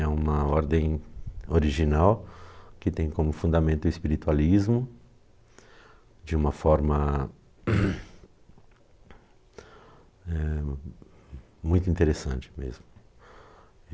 É uma ordem original que tem como fundamento o espiritualismo de uma forma eh, muito interessante mesmo.